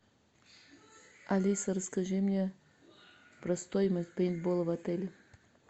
алиса расскажи мне про стоимость пейнтбола в отеле